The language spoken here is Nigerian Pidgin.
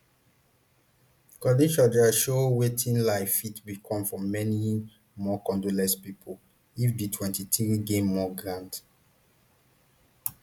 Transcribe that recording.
conditions dia show wetin life fit become for many more congolese pipo if di mtwenty-three gain more ground